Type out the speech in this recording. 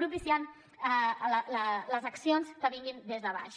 propiciant les accions que vinguin des de baix